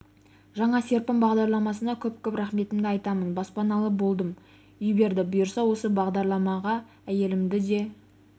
жаңа серпін бағдарламасына көп-көп рахметімді айтамын баспаналы болдым үй берді бұйырса осы бағдарлама әйелімді де